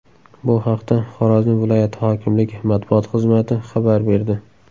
Bu haqda Xorazm viloyati hokimligi matbuot xizmati xabar berdi .